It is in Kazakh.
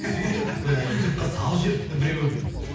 сөйтіп і ютубқа салып жіберіпті біреу